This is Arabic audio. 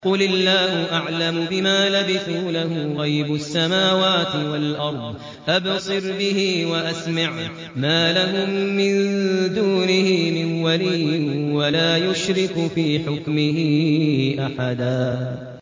قُلِ اللَّهُ أَعْلَمُ بِمَا لَبِثُوا ۖ لَهُ غَيْبُ السَّمَاوَاتِ وَالْأَرْضِ ۖ أَبْصِرْ بِهِ وَأَسْمِعْ ۚ مَا لَهُم مِّن دُونِهِ مِن وَلِيٍّ وَلَا يُشْرِكُ فِي حُكْمِهِ أَحَدًا